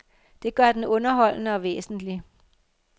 Det gør den underholdende og væsentlig.